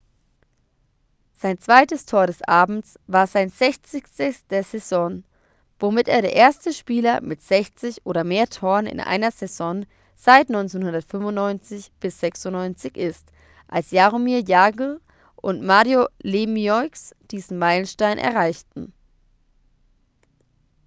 sein zweites tor des abends war sein sechzigstes der saison womit er der erste spieler mit 60 oder mehr toren in einer saison seit 1995-96 ist als jaromir jagr und mario lemieux diesen meilenstein erreichten